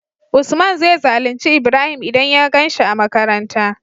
usman zai zalunci ibrahim idan ya ganshi a makaranta